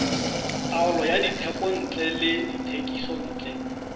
taolo ya dithekontle le dithekisontle